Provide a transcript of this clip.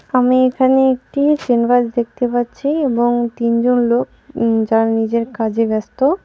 আমি এখানে একটি সিনবাস দেখতে পাচ্ছি এবং তিনজন লোক উম যারা নিজের কাজে ব্যস্ত .